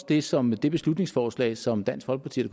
det som det beslutningsforslag som dansk folkeparti og